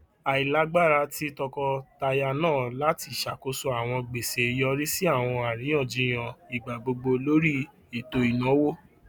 ailagbara ti tọkọtaya naa lati ṣakoso awọn gbese yori si awọn ariyanjiyan igbagbogbo lori eto inawo